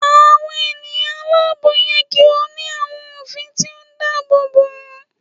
Awọn eniyan alaabo yẹ ki o ni awọn ofin ti o daabobo wọn